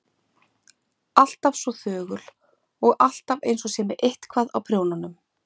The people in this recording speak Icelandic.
Alltaf svo þögul og alltaf einsog hún sé með eitthvað á prjónunum.